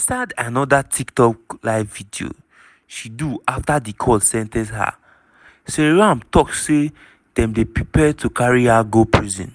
inside anoda tiktok live video she do afta di court sen ten ce her seyram tok say dem dey prepare to carry her go prison.